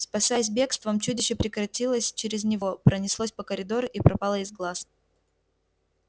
спасаясь бегством чудище перекатилось через него пронеслось по коридору и пропало из глаз